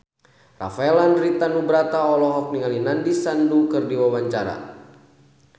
Rafael Landry Tanubrata olohok ningali Nandish Sandhu keur diwawancara